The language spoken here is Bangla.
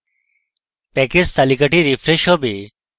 প্যাকেজ তালিকাটি refreshed হবে